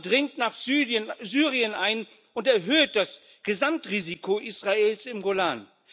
Der Iran dringt nach Syrien ein und erhöht das Gesamtrisiko Israels im Golan.